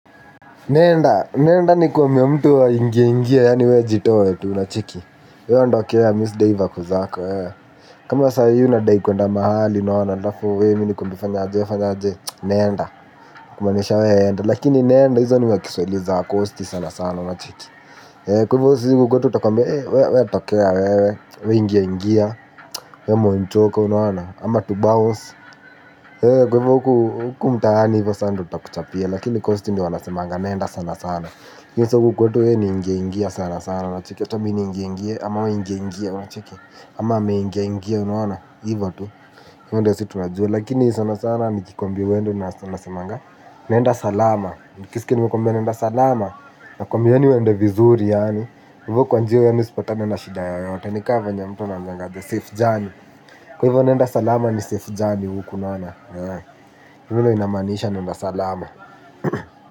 Nenda, nenda nikwamie mtu aingie angie yaani wewe jitoe tu unacheki wewe ondokea, mimi sidai vako zako, wewe kama sai unadai kuenda mahali alafu unaonaje wewe mimi nakuambia fanya aje, wewe fanya aje nenda, kumaanisha wewe enda. Lakini nenda hizo ni makiswahili za wacosti sana sana unacheki. Kwa hivo sisi huko kwetu tutakuambia, wewe tokea wewe, wewe ingia ingia, wewe monchoka unaona ama tu bounce. Kwa hivyo huku mtaani hivyo sasa ndio tutakuchapia, lakini costi ndio wanasemanga nenda sana sana lakini huku kwetu ni ingia ingia sana sana unacheki acha mimi niingie ingie ama wewe ingia ingia unacheki ama ameingia ingia unaona hivyo tu, hivyo tu, hivyo ndio sisi tunajua, lakini sana sana. Nikikuambia uende nasemanga, nenda salama, ukiskia nimekuambia nenda salama, nakuambia yaani uende vizuri yaani, hivyo kwa njia yaani usipatane na shida yoyote, ni kama venye mtu anaambiwanga, the safe journey, kwa hivyo nenda salama ni safe journey huku unaona, hivyo ndio inamaaniisha nenda salama.